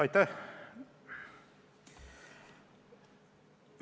Aitäh!